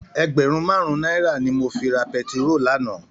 Ègbèrún màrún nàirá ni mó fi rá pètiró làná